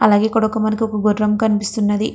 అలాగే ఇక్కడొక మనకి ఒక గుర్రం కనిపిస్తున్నది.